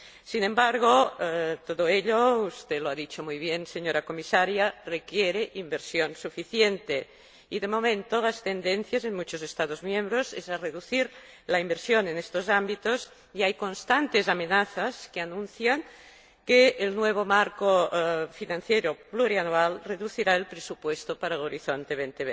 Sin embargo, todo ello ―usted lo ha dicho muy bien, señora Comisaria― requiere inversión suficiente y, de momento, la tendencia en muchos Estados miembros es a reducir la inversión en estos ámbitos y hay constantes amenazas que anuncian que el nuevo marco financiero plurianual reducirá el presupuesto para Horizonte